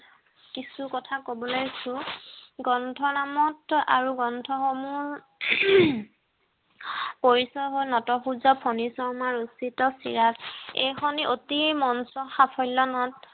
কিছু কথা কৱ লৈছো গ্ৰন্থ নামত্ব আৰু গ্ৰন্থ সমুহ পৰিচয় হ'ল নট সূৰ্য ফনী শৰ্মাৰ ৰচিত চিৰাজ এই খনি অতি মঞ্চ সাফল্য নাট